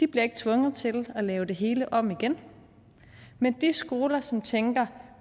bliver tvunget til at lave det hele om igen mens de skoler som tænker